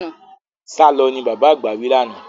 Sálọ! ni bàbá àgbà wí lánàá.